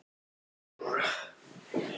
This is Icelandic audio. Síðan skal hlúa vel að honum og róa hann.